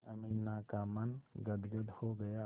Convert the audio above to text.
अमीना का मन गदगद हो गया